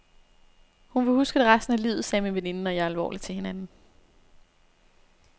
Hun vil huske det resten af livet, sagde min veninde og jeg alvorligt til hinanden.